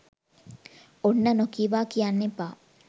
ඔන්න නොකීවා කියන්න එපා